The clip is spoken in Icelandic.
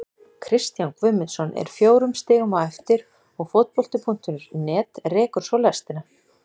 Kristján Guðmundsson er fjórum stigum á eftir og Fótbolti.net rekur svo lestina.